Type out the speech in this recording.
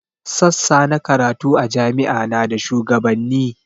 Sassa na karatu a jami'a na da shuwagabanni